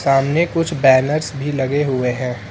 सामने कुछ बैनर्स भी लगे हुए हैं।